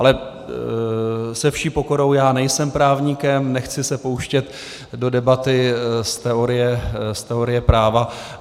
Ale se vší pokorou, já nejsem právník, nechci se pouštět do debaty z teorie práva.